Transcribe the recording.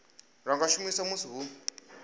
lwa nga shumiswa musi hu